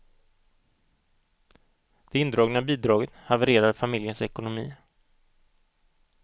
Det indragna bidraget havererade familjens ekonomi.